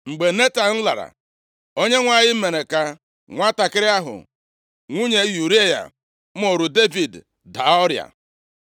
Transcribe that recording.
Mgbe Netan lara, Onyenwe anyị mere ka nwantakịrị ahụ nwunye Ụraya mụụrụ Devid daa ọrịa.